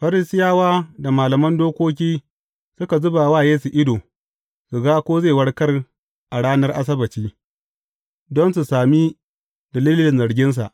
Farisiyawa da malaman dokoki suka zuba wa Yesu ido, su ga ko zai warkar a ranar Asabbaci, don su sami dalilin zarginsa.